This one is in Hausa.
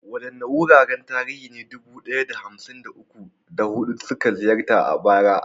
Waɗanne wuraren tarihi ne dubu ɗaya da hamsin da uku, da hudu suka ziyarta a bara?